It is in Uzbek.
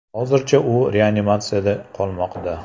Hozircha u reanimatsiyada qolmoqda.